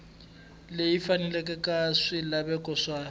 leyi faneleke ya swilaveko swa